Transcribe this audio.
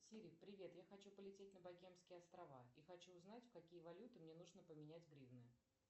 сири привет я хочу полететь на богемские острова и хочу узнать в какие валюты мне нужно поменять гривны